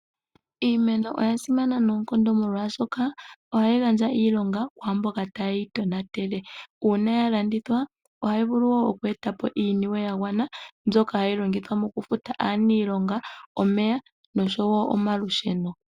Iimeno oya sima noonkondo, molwaashoka, oha yi gandja iilonga kwaamboka ta ye yi tonatele, oha yi vulu woo ku etapo iiniwe yagwana mbyoka ha yilongithwa ooh futa aaniilonga, omeya nosho woo omalusheno.